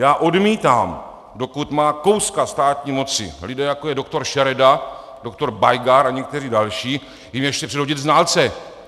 Já odmítám, dokud mají kousek státní moci lidé, jako je doktor Šereda, doktor Bajgar a někteří další, jim ještě předhodit znalce.